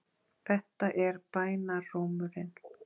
Þetta er bænarrómurinn.